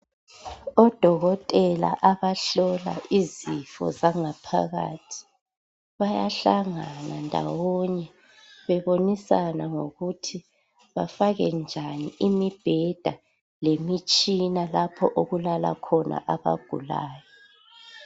Odokotela abahlola izifo zangaphakathi. Bayahlangana ndawonye bebonisana ngokuthi bafake njani imibheda lemitshina lapho okulala khona abagulayo.